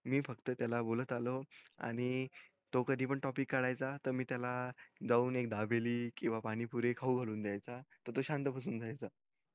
मी फक्त त्याला बोलत आलो आणि तो कधी पण topic काढ्याचा त मी त्याला जाऊन एक दाबेली किव्हा पाणीपुरी खाऊ घालून द्याचा त तो शांत बसून जायचा